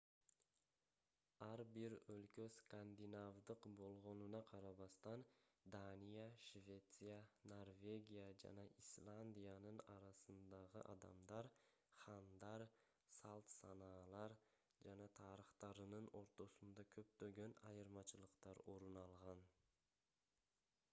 ар бир өлкө скандинавдык болгонуна карабастан дания швеция норвегия жана исландиянын арасындагы адамдар хандар салт-санаалар жана тарыхтарынын ортосунда көптөгөн айырмачылыктар орун алган